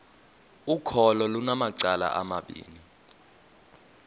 ukholo lunamacala amabini